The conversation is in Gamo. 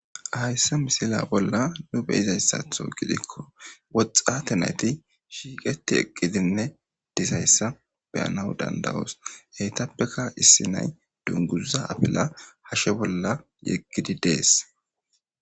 Hayssa misila bolla nu be izayssatho gidikko woxxate nayti shiiqeti eqqidinne dizayssa beyanaw dandawoos heytappeka issi nay dunguzza abila hashshe bolla yeggidi dees.